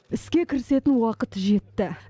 іске кірісетін уақыт жетті